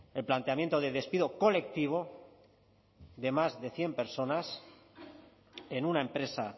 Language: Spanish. el planteamiento de despido colectivo de más de cien personas en una empresa